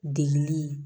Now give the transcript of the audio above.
Degili